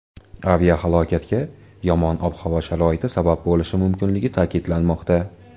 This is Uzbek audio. Aviahalokatga yomon ob-havo sharoiti sabab bo‘lishi mumkinligi ta’kidlanmoqda.